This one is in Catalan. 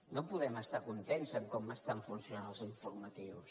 no podem estar contents en com estan funcionant els informatius